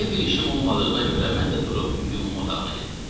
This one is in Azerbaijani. Elə bir işim olmadığına görə mən də durub yumma otağına getdim.